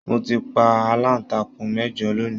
Mo ti pa alantakun mẹjọ lónì.